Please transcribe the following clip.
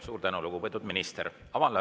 Suur tänu, lugupeetud minister!